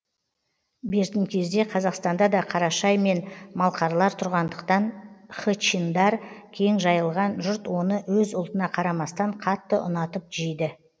бертін кезде қазақстанда да қарашай мен малқарлар тұрғандықтан хычиндар кең жайылған жұрт оны өз ұлтына қарамастан қатты ұнатып жейді